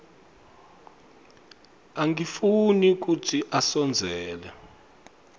angifuni kutsi asondzele